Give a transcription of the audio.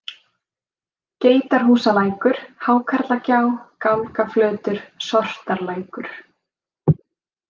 Geitarhúsalækur, Hákarlagjá, Gálgaflötur, Sortarlækur